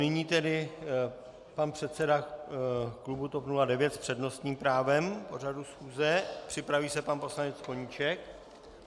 Nyní tedy pan předseda klubu TOP 09 s přednostním právem k pořadu schůze, připraví se pan poslanec Koníček.